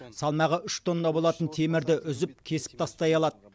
салмағы үш тонна болатын темірді үзіп кесіп тастай алады